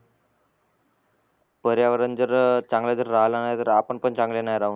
पर्यावण जर चंगले जर राहला नाही तर आपण पण चांगले नाही राहू